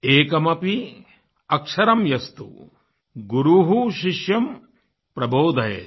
एकमपि अक्षरमस्तु गुरुः शिष्यं प्रबोधयेत्